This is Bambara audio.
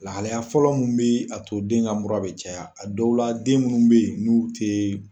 Lahalaya fɔlɔ mun bɛ a to den ka mura bɛ caya a dɔw la den minnu bɛ yen n'u tɛ.